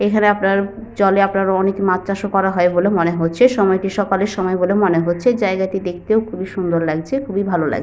এখানে আপনার জলে আপনার অনেক মাছ চাষ ও করা হয় বলে মনে হচ্ছে। সময়টি সকালের সময় বলে মনে হচ্ছে। জায়গাটি দেখতেও খুবই সুন্দর লাগছে খুবই ভালো লাগ--